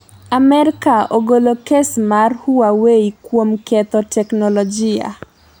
Amerka ogolo kes mar Huawei kuom ketho teknolojia", j